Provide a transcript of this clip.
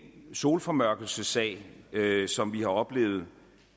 solformørkelsessag som vi har oplevet